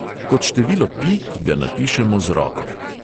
Kot število pi, ki ga napišemo z roko.